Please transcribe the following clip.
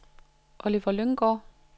Oliver Lynggaard